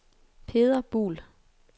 Peder Buhl